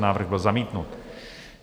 Návrh byl zamítnut.